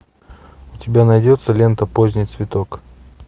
у тебя найдется лента поздний цветок